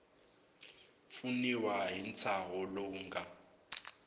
pfuniwa hi ntshaho lowu nga